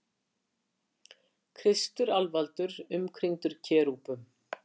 Kristur alvaldur umkringdur kerúbum.